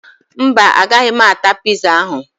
Mba, agaghị m ata piza ahụ